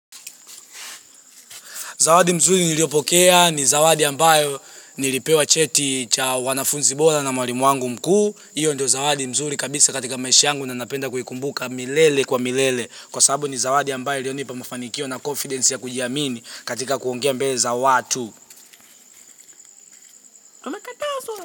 Zawadi nzuri niliyopokea, ni zawadi ambayo nilipewa cheti cha uanafunzi bora na mwalimu wangu mkuu. Hiyo ndiyo zawadi nzuri kabisa katika maisha yangu na napenda kuikumbuka milele kwa milele. Kwa sababu ni zawadi ambayo iliyonipa mafanikio na confidence ya kujiamini katika kuongea mbele za watu.